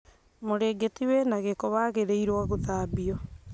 Mũrĩngĩti wĩna gĩko, wagĩrĩirwo gũthambio